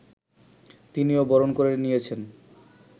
তিনিও বরণ করে নিয়েছেন